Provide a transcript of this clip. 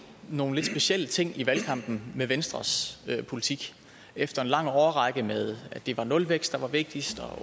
nogle lidt specielle ting i valgkampen med venstres politik efter en lang årrække med at det var nulvækst der var vigtigst og